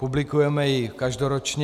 Publikujeme ji každoročně.